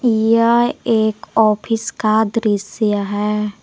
यह एक ऑफिस का दृश्य है।